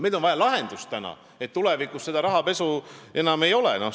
Meil on vaja lahendust, et tulevikus sellist rahapesu enam ei oleks.